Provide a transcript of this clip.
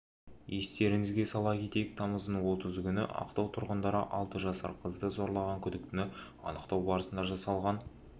естеріңізге сала кетейік тамыздың отызы күні ақтау тұрғындары алты жасар қызды зорлаған күдіктіні анықтау барысында жасалған